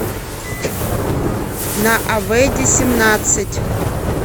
на авейде семнадцать